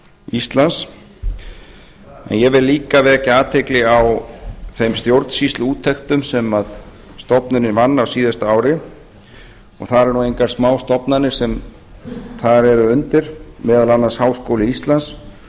íslands en ég vil líka vekja athygli á þeim stjórnsýsluúttektum sem stofnunin vann á síðasta ári það eru nú engar smástofnanir sem þar eru undir meðal annars háskóli íslands